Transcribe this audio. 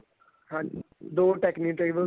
ਹਾਂਜੀ ਦੋ technitable